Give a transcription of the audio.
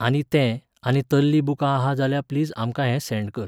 आनी ते, आनी तल्हीं बुकां आहा जाल्या प्लीज आमकां हें सँड कर.